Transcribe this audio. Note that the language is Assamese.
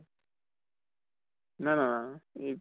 না না না না ই